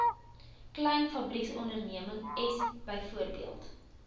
klein fabrieksondernemings bv